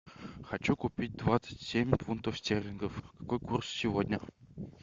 хочу купить двадцать семь фунтов стерлингов какой курс сегодня